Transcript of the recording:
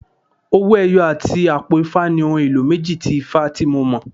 Owó ẹyọ àti àpò ifá ni ohun èlò méjì tí ifá tí mo mọ̀.